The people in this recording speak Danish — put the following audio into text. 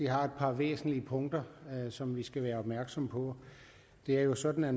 har et par væsentlige punkter som vi skal være opmærksomme på det er jo sådan at